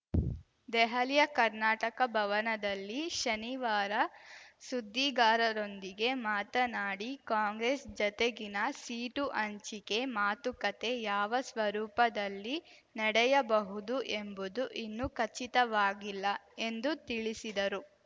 ದೆಹಲಿಯ ಕರ್ನಾಟಕ ಭವನದಲ್ಲಿ ಶನಿವಾರ ಸುದ್ದಿಗಾರರೊಂದಿಗೆ ಮಾತನಾಡಿ ಕಾಂಗ್ರೆಸ್‌ ಜತೆಗಿನ ಸೀಟು ಹಂಚಿಕೆ ಮಾತುಕತೆ ಯಾವ ಸ್ವರೂಪದಲ್ಲಿ ನಡೆಯಬಹುದು ಎಂಬುದು ಇನ್ನೂ ಖಚಿತವಾಗಿಲ್ಲ ಎಂದು ತಿಳಿಸಿದರು